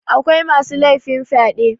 akwai masu laifin fyaɗe